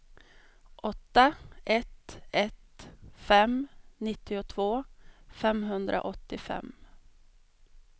åtta ett ett fem nittiotvå femhundraåttiofem